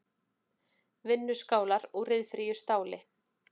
Vinnuskálar úr ryðfríu stáli.